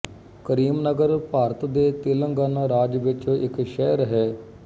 ਕਰੀਮਨਗਰ ਭਾਰਤ ਦੇ ਤੇਲੰਗਾਨਾ ਰਾਜ ਵਿਚ ਇੱਕ ਸ਼ਹਿਰ ਹੈ